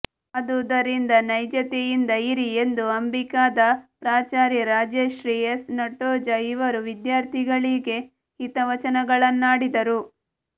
ಆದುದರಿಂದ ನೈಜತೆಯಿಂದ ಇರಿ ಎಂದು ಅಂಬಿಕಾದ ಪ್ರಾಚಾರ್ಯೆ ರಾಜಶ್ರೀ ಎಸ್ ನಟ್ಟೋಜ ಇವರು ವಿದ್ಯಾರ್ಥಿಗಳಿಗೆ ಹಿತವಚನಗಳನ್ನಾಡಿದರು